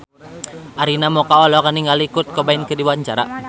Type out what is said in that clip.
Arina Mocca olohok ningali Kurt Cobain keur diwawancara